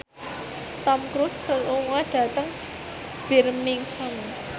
Tom Cruise lunga dhateng Birmingham